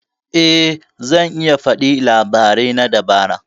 Eh zan iya faɗi labarai na dabara.